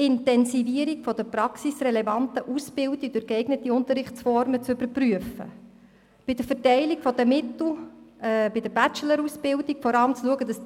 – Die Intensivierung der praxisrelevanten Ausbildung durch geeignete Unterrichtsformen sei zu überprüfen, bei der Verteilung der Mittel seien die Bachelor-Ausbildungen zu bevorzugen und es